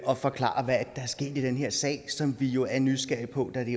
at forklare hvad det er sket i den her sag som vi jo er nysgerrige på da det